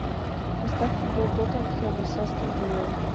поставь футбол тоттенхэма с астон виллой